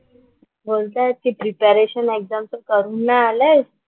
बोलतायत की प्रिपरेशन एक्झामचं करून नाही आलेत,